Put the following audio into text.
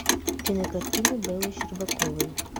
кинокартины беллы щербаковой